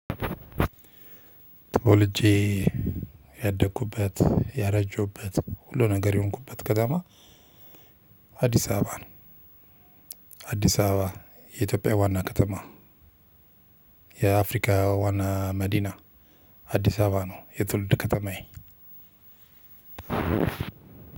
ተወልጄ ያደኩበት ያረጀሁበት ሁሉ ነገር የሆንኩበት ከተማ አዲስ አበባ ነው። አዲስ አበባ የኢትዮጵያ ዋና ከተማ የአፍሪካ ዋና መዲና አዲስ አበባ ነው። የትውልድ ከተማዬ